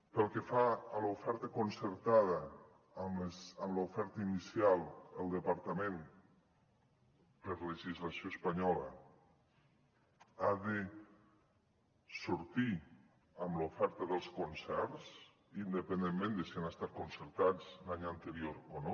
pel que fa a l’oferta concertada amb l’oferta inicial el departament per legislació espanyola ha de sortir amb l’oferta dels concerts independentment de si han estat concertats l’any anterior o no